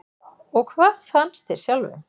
Og hvað fannst þér sjálfum?